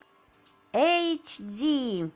эйч ди